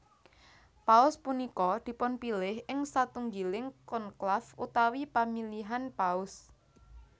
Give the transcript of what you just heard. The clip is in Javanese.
Paus punika dipunpilih ing satunggiling konklaf utawi pamilihan Paus